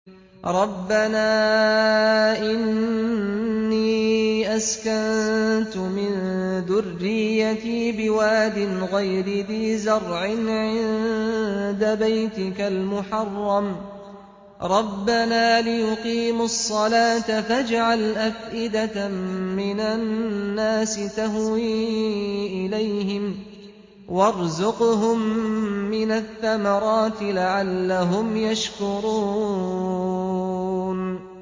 رَّبَّنَا إِنِّي أَسْكَنتُ مِن ذُرِّيَّتِي بِوَادٍ غَيْرِ ذِي زَرْعٍ عِندَ بَيْتِكَ الْمُحَرَّمِ رَبَّنَا لِيُقِيمُوا الصَّلَاةَ فَاجْعَلْ أَفْئِدَةً مِّنَ النَّاسِ تَهْوِي إِلَيْهِمْ وَارْزُقْهُم مِّنَ الثَّمَرَاتِ لَعَلَّهُمْ يَشْكُرُونَ